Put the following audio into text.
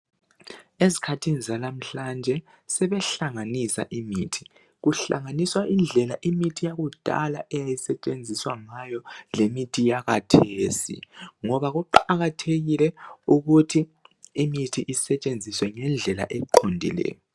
Ezkhathini zalamhlanje sebehlanganisa imithi. Kuhlanganiswa indlela imithi yakudala eyayisetshenziswa ngayo lemithi yakathesi, ngoba kuqakathekile ukuthi imithi isetshenziswe ngendlela eqondileyo.